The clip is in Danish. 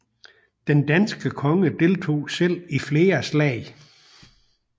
Den danske konge deltog selv i flere slag